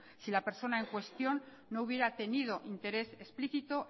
si la persona en cuestión no hubiera tenido interés explícito